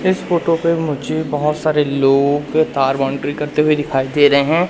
इस फोटो पे मुझे बहोत सारे लोग तार बाउंड्री करते हुए दिखाई दे रहे हैं।